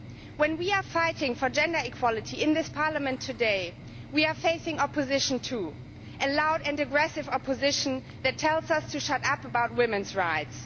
When we are fighting for gender equality in this Parliament today, we are facing opposition too a loud and aggressive opposition that tells us to shut up about women's rights.